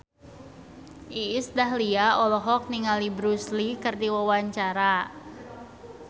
Iis Dahlia olohok ningali Bruce Lee keur diwawancara